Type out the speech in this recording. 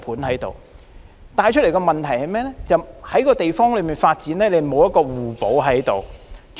這反映出的問題，是這個地方的各項發展沒有互補作用。